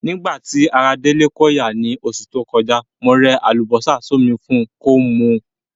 Nígbà ti ara Délé ko ya ni osù to kojá, mo re àlùbósà sómi fun ko mu